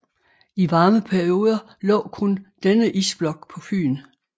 I varme perioder lå kun denne isblok på Fyn